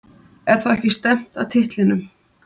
Er þá ekki stefnt að titlinum?